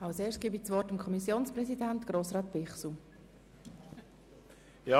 Ich erteile dem Kommissionspräsidenten für die FiKo-Mehrheit das Wort.